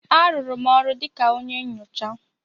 A rụrụ m ọrụ dịka onye nyocha.